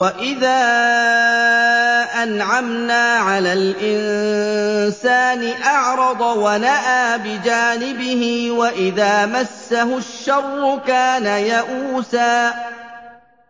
وَإِذَا أَنْعَمْنَا عَلَى الْإِنسَانِ أَعْرَضَ وَنَأَىٰ بِجَانِبِهِ ۖ وَإِذَا مَسَّهُ الشَّرُّ كَانَ يَئُوسًا